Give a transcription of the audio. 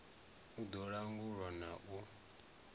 u ḓo langula na u